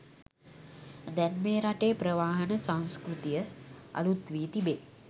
දැන් මේ රටේ ප්‍රවාහන සංස්කෘතිය අලුත් වී තිබේ